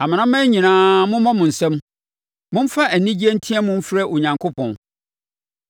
Amanaman nyinaa, mommɔ mo nsam; momfa anigyeɛ nteam mfrɛ Onyankopɔn.